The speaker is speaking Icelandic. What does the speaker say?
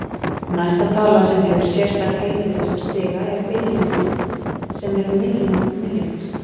Næsta tala sem hefur sérstakt heiti í þessum stiga er billjónin sem er milljón milljónir.